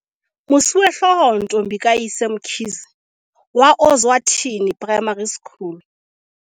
Mosuwehlooho Ntombi kayise Mkhize wa Ozwathi ni Primary School